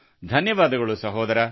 ಧನ್ಯವಾದಗಳು ಸಹೋದರ